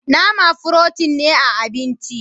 Nama "protein " ne a abinci.